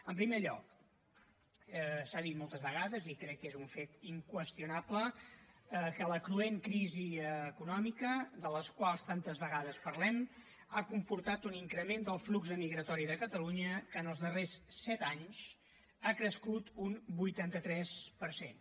en primer lloc s’ha dit moltes vegades i crec que és un fet inqüestionable que la cruent crisi econòmica de la qual tantes vegades parlem ha comportat un increment del flux emigratori de catalunya que en els darrers set anys ha crescut un vuitanta tres per cent